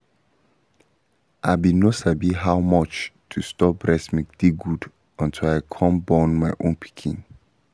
i been no sabi how much to store breast milk dey good until i come born my own pikin